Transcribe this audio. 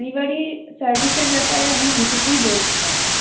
আ delivery service এর ব্যাপারে আমি এটুকুই বলতে চাই